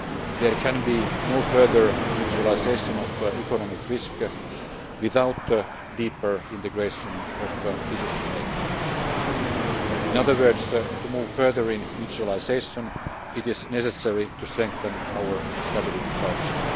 There can be no further mutualisation of economic risk without deeper integration of decision making. In other words, to move further in mutualisation, it is necessary to strengthen our stability culture.